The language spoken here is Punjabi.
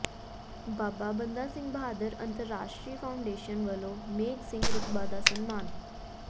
ਬਾਬਾ ਬੰਦਾ ਸਿੰਘ ਬਹਾਦਰ ਅੰਤਰਰਾਸ਼ਟਰੀ ਫਾਊਾਡੇਸ਼ਨ ਵੱਲੋਂ ਮੇਘ ਸਿੰਘ ਰਕਬਾ ਦਾ ਸਨਮਾਨ